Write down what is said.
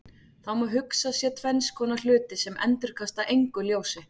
Það má hugsa sér tvenns konar hluti sem endurkasta engu ljósi.